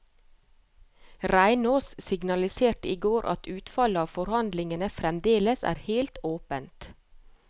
Reinås signaliserte i går at utfallet av forhandlingene fremdeles er helt åpent.